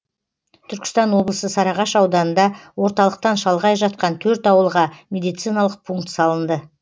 түркістан облысы сарыағаш ауданында орталықтан шалғай жатқан төрт ауылға медициналық пункт салынды